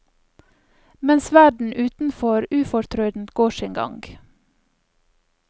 Mens verden utenfor ufortrødent går sin gang.